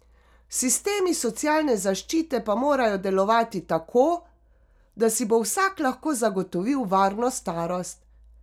Sistemi socialne zaščite pa morajo delovati tako, da si bo vsak lahko zagotovil varno starost.